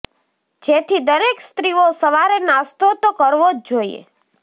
જેથી દરેક સ્ત્રીઓ સવારે નાસ્તો તો કરવો જ જોઈએ